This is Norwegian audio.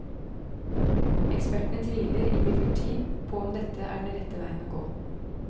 Ekspertene tviler imidlertid på om dette er den rette veien å gå.